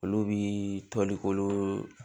Olu bi tɔli ko